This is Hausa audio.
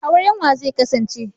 Auren wa zai kasance?